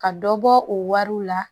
Ka dɔ bɔ o wariw la